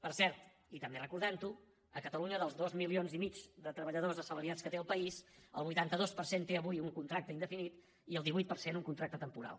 per cert i també recordant ho a catalunya dels dos milions i mig de treballadors assalariats que té el país el vuitanta dos per cent té avui un contracte indefinit i el divuit per cent un contracte temporal